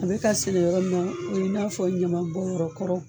A bɛ ka sɛnɛ yɔrɔ min na, o ye i n'a fɔ ɲaman bɔnyɔrɔ kɔrɔ.